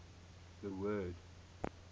the word